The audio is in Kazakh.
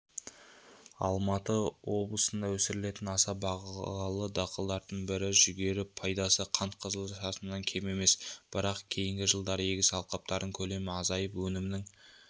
алматы облысында өсірілетін аса бағалы дақылдың бірі жүгері пайдасы қант қызылшасынан кем емес бірақ кейінгі жылдары егіс алқаптарының көлемі азайып өнімнің